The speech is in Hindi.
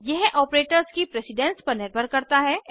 यह ऑपरेटर्स की प्रेसिडन्स पर निर्भर करता है